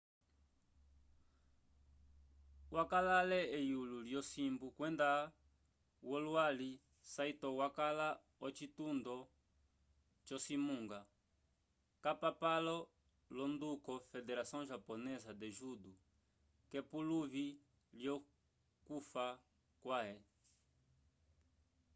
wakala ale eyulo lyosimbu kwenda wolwali saito wakala ocitundo co cimunga capapalo l'onduko federação japonesa de judo k'epuluvi lyokufa kwãhe